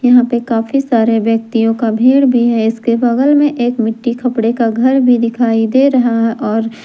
यहां पे काफी सारे व्यक्तियों का भीड भी है इसके बगल में एक मिट्टी खपड़े का घर भी दिखाई दे रहा है और--